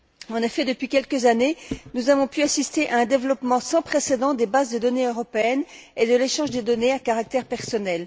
En effet, depuis quelques années, nous avons pu assister à un développement sans précédent des bases de données européennes et de l'échange des données à caractère personnel.